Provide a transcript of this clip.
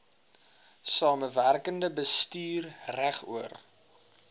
samewerkende bestuur regoor